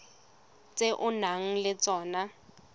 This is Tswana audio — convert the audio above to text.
tse o nang le tsona